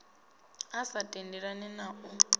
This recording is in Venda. a sa tendelani na u